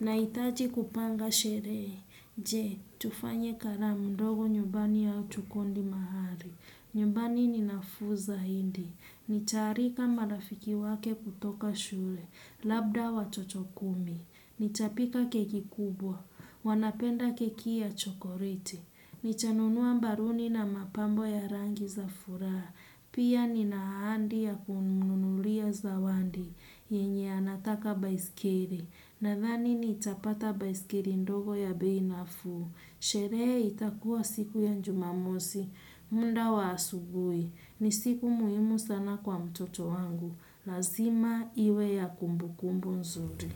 Naitaji kupanga sherehe. Je, tufanye karam ndogo nyumbani au tukondi mahari. Nyumbani ni nafuu zahindi. Nitaarika marafiki wake kutoka shure. Labda watoto kumi. Nitapika keki kubwa. Wanapenda keki ya chokoreti. Nitanunuwa mbaruni na mapambo ya rangi za furaha. Pia nina ahandi ya kumnunulia zawandi, yenye anataka baiskeri. Nadhani nitapata baiskeri ndogo ya bei nafuu. Sherehe itakuwa siku ya njumamosi, munda wa asubui. Ni siku muimu sana kwa mtoto wangu. Lazima iwe ya kumbukumbu nzuri.